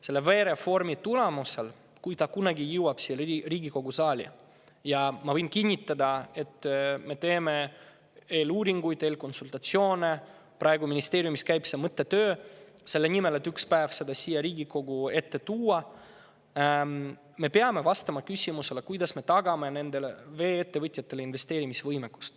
Selle reformi tulemusena, kui see kunagi jõuab siia Riigikogu saali – ma võin kinnitada, et me teeme eeluuringuid ja eelkonsultatsioone, praegu käib ministeeriumis mõttetöö selle nimel, et ühel päeval see siia Riigikogu ette tuua –, me peame vastama küsimusele, kuidas me tagame vee-ettevõtjatele investeerimisvõimekuse.